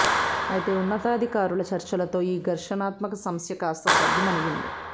అయితే ఉన్నతాధికారుల చర్చలతో ఈ ఘర్షణాత్మక సమస్య కాస్తా సద్దుమణిగింది